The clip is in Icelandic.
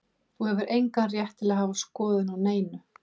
Þú hefur engan rétt til að hafa skoðun á neinu.